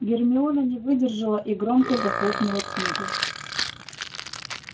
гермиона не выдержала и громко захлопнула книгу